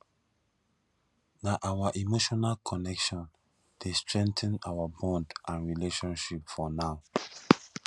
na our emotional connection dey strengthen our bond and relationship for now